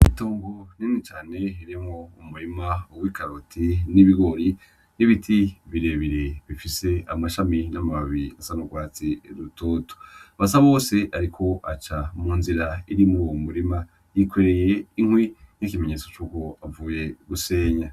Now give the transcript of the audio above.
Itongo rinini cane ririmwo umurima w'ikaroti n'ibigori n'ibiti birebire bifise amashami n'amababi asa n'urwatsi rutoto, Basabose ariko aca mu nzira irimwo uwo murima, yikoreye inkwi nk'ikimenyetso cuko avuye gusenya.